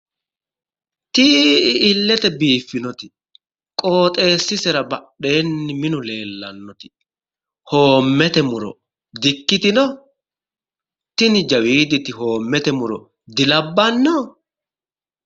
Tii"i illete biiffinoti qooxeessisera badheenni minu leellannoti hoommete muro dikkitino? tini jawiiditi hoomete muro dilabbanno?